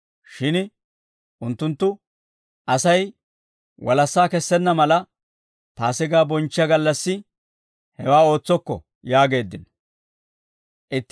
Shin unttunttu, «Asay walassaa kessenna mala, Paasigaa bonchchiyaa gallassi hewaa ootsokko» yaageeddino.